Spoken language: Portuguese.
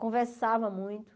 Conversava muito.